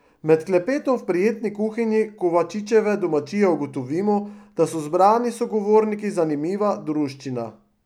Med klepetom v prijetni kuhinji Kovačičeve domačije ugotovimo, da so zbrani sogovorniki zanimiva druščina.